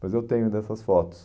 Mas eu tenho dessas fotos.